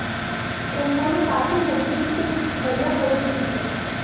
उन्होंने काफी नज़दीक से कुछ बढ़िया फ़ोटो खींचे